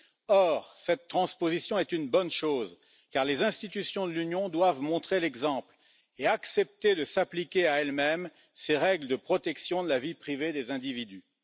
Or, cette transposition est une bonne chose car les institutions de l'Union doivent montrer l'exemple et accepter de s'appliquer à elles mêmes ces règles de protection de la vie privée des individus.